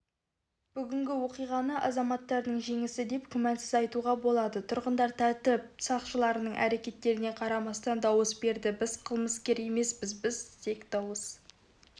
бүгінгі оқиғаны азаматтардың жеңісі деп күмәнсіз айтуға болады тұрғындар тәртіп сақшыларының әрекеттеріне қарамастан дауыс берді біз қылмыскер емеспіз біз тек дауыс